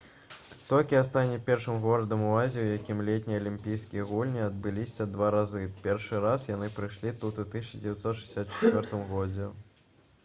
токіа стане першым горадам у азіі у якім летнія алімпійскія гульні адбываліся два разы першы раз яны прайшлі тут у 1964 г